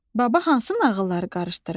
Baba hansı nağılları qarışdırıb?